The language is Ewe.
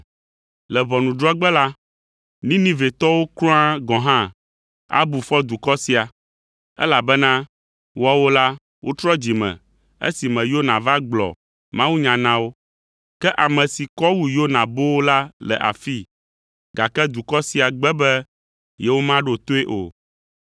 Le ʋɔnudrɔ̃gbe la, Ninivetɔwo kura gɔ̃ hã abu fɔ dukɔ sia, elabena woawo la, wotrɔ dzime esime Yona va gblɔ mawunya na wo. Ke ame si kɔ wu Yona boo la le afii, gake dukɔ sia gbe be yewomaɖo toe o.